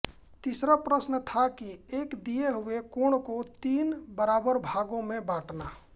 तीसरा प्रश्न था कि एक दिए हुए कोण को तीन बराबर भागों में बाँटना